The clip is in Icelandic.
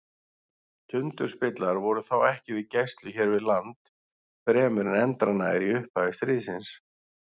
Tundurspillar voru þó ekki við gæslu hér við land fremur en endranær í upphafi stríðsins.